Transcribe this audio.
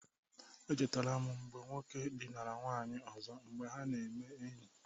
Echetara m mgbe nke nwoke dịnara nwanyị ọzọ mgbe ha na-eme enyi.